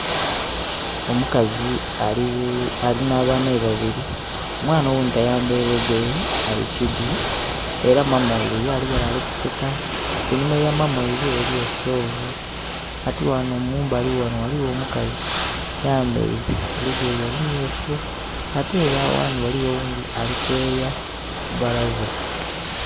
Omukazi ali nha baana be babiri. Omwana oghundhi tayambaile lugoye ali kidhu. Era maama ghaibwe ye ali ghale ali kuseka. Einhuma ya maama ghaibwe eliyo stove. Kati ghano mumbali ghano ghaligho omukazi ayambaile olugoye olumyuufu ate ele aghandhi gahligho oghundhi ali kweeya kubalaza.